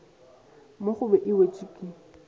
mo gobe e wetšwa ke